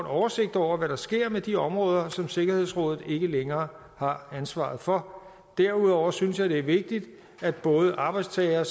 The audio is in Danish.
oversigt over hvad der sker med de områder som sikkerhedsrådet ikke længere har ansvaret for derudover synes jeg det er vigtigt at både arbejdstagere